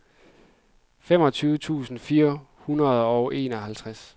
femogtyve tusind fire hundrede og enoghalvtreds